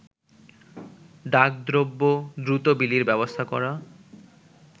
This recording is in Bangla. ডাক দ্রব্য দ্রুত বিলির ব্যবস্থা করা